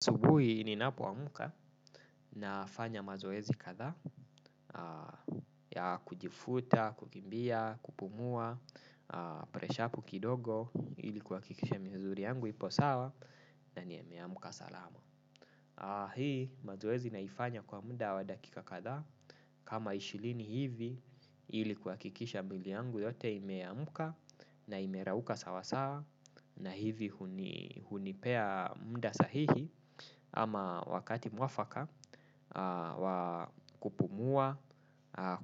Asubuhi ni napo amka na fanya mazoezi kadhaa ya kujivuta, kukimbia, kupumua, presha kukidogo ilikuwa kikisha mzuri yangu ipo sawa na niyameyamuka salamu. Hii mazoezi naifanya kwa muda wa dakika kadhaa kama ishirini hivi ili kuhakikisha mwili yangu yote imeamka na imerauka sawa sawa na hivi hunipea mda sahihi. Ama wakati mwafaka wa kupumua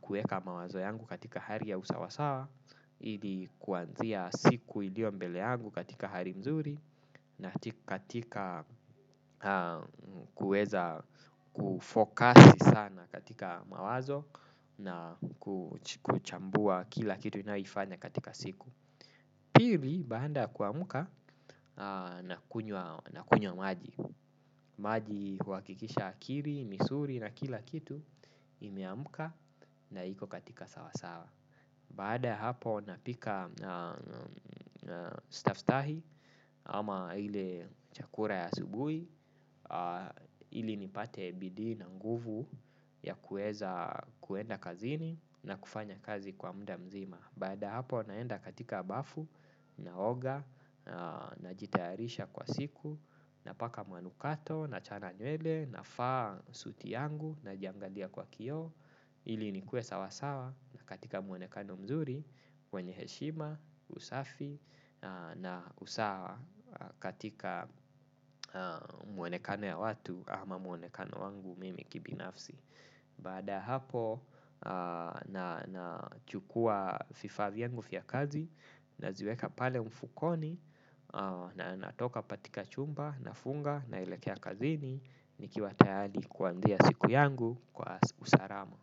kuweka mawazo yangu katika hali ya usawasawa. Ili kuanzia siku iliyo mbele yangu katika hali mzuri. Na katika kuweza kufokasi sana katika mawazo. Na kuchambua kila kitu ninayoifanya katika siku. Pili, baada ya kuamka nakunywa maji. Maji kwa hakikisha akili misuli na kila kitu imeamuka na iko katika sawasawa. Baada ya hapo napika staftahi ama ile chakula ya asubuhi ili nipate bidii na nguvu ya kuweza kuenda kazini na kufanya kazi kwa muda mzima. Baada ya hapo naenda katika bafu na oga na na jitayarisha kwa siku na paka manukato na chana nywele na vaa suti yangu na jiangalia kwa kioo ili nikue sawasawa katika mwonekano mzuri kwenye heshima usafi na usawa katika mwonekano ya watu ama mwonekano wangu mimi kibinafsi. Baada ya hapo na chukua vifaa vyangu vya kazi naziweka pale mfukoni na natoka katika chumba na funga na elekea kazini ni kiwa tayari kuanzia siku yangu kwa usalama.